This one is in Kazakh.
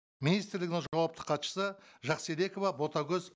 министрлігінің жауапты хатшысы жақсыбекова ботагөз